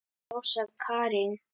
Rósa Karin.